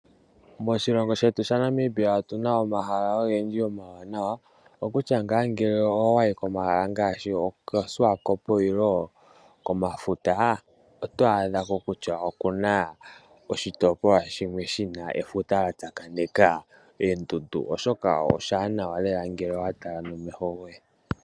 Moshilongo shetu sha Namibia otuna omahala ogendji omawanawa. Okutya ngaa ngele owayi komahala ngaashi okoShiwakopo nenge komafuta oto adha ko kutya okuna oshitopolwa shimwe shina efuta lya tsakanena noondundu. Oshoka oshiwanawa lela ngele owa tala nomeho goye.